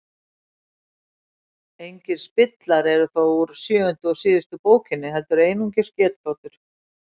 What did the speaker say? engir spillar eru þó úr sjöundu og síðustu bókinni heldur einungis getgátur